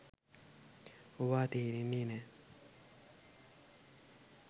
ඕවා තේරෙන්නේ නැ.